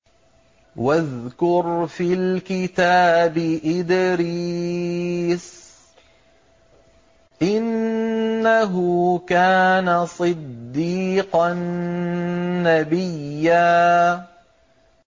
وَاذْكُرْ فِي الْكِتَابِ إِدْرِيسَ ۚ إِنَّهُ كَانَ صِدِّيقًا نَّبِيًّا